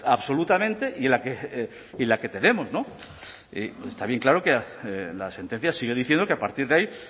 absolutamente y en la que tenemos está bien claro que la sentencia sigue diciendo que a partir de ahí